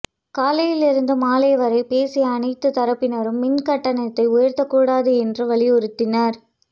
காலையில் இருந்து மாலை வரை பேசிய அனைத்து தரப்பினரும் மின்கட்டணத்தை உயர்த்தக்கூடாது என்று வலியுறுத்தினர்